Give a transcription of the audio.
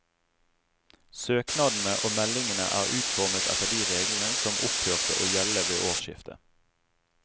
Søknadene og meldingene er utformet etter de reglene som opphørte å gjelde ved årsskiftet.